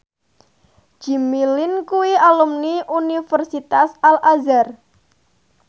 Jimmy Lin kuwi alumni Universitas Al Azhar